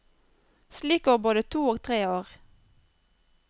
Slik går både to og tre år.